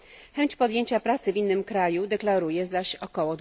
Chęć podjęcia pracy w innym kraju deklaruje zaś ok.